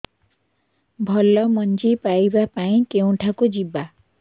ଭଲ ମଞ୍ଜି ପାଇବା ପାଇଁ କେଉଁଠାକୁ ଯିବା